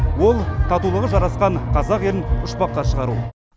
ол татулығы жарасқан қазақ елін ұшпаққа шығару